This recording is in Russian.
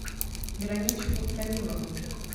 вероничку томилову